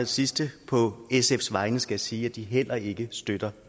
sidste på sfs vegne skal jeg sige at de heller ikke støtter